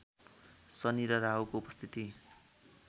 शनि र राहुको उपस्थिति